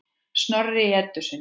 Snorri í Eddu sinni.